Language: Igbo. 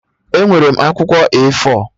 Enwere m akwụkwọ A4